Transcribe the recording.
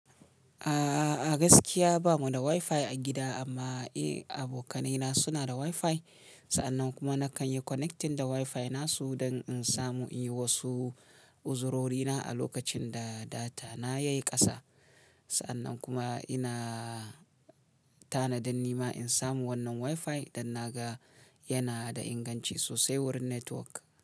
A'a, gaskiya bamu da Wi-Fi a gida amma eh, abokanaina suna da Wi-Fi. Sa'annan kuma nakan yi connecting da Wi-Fi nasu don in samu in yi wasu uzurorina a lokacin da data na yayi ƙasa. Sa'annan kuma ina tanadin nima in samu wannan Wi-Fi idan na ga yana da inganci sosai wurin network.